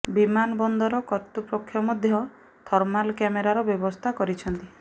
ବିମାନ ବନ୍ଦର କର୍ତୃପକ୍ଷ ମଧ୍ୟ ଥର୍ମାଲ କ୍ୟାମେରାର ବ୍ୟବସ୍ଥା କରିଛନ୍ତି